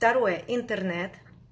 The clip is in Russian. второе интернет